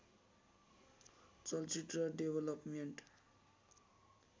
चलचित्र डेवलपमेन्ट